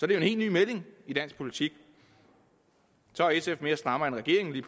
det jo helt ny melding i dansk politik så er sf mere strammere end regeringen